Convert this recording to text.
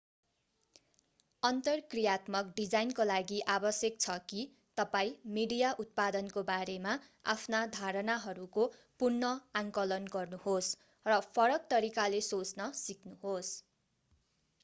अन्तर्क्रियात्मक डिजाइनको लागि आवश्यक छ कि तपाईं मिडिया उत्पादनको बारेमा आफ्ना धारणाहरूको पुनः आंकलन गर्नुहोस् र फरक तरिकाले सोच्न सिक्नुहोस्